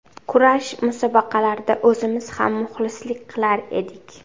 Kurash musobaqalarida o‘zimiz ham muxlislik qilar edik.